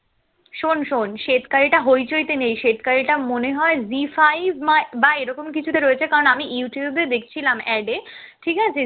শোন শোন শ্বেতকালীটা হইচইতে নেই শ্বেতকালীটা মনে হয় জি five বা এরকম কিছুতে রয়েছে কারণ আমি youtube এ দেখছিলাম add এ, ঠিক আছে